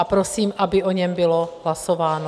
A prosím, aby o něm bylo hlasováno.